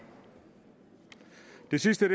det sidste